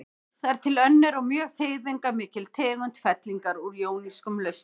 Það er til önnur og mjög þýðingarmikil tegund fellingar úr jónískum lausnum.